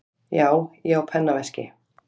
Já, ég á pennaveski.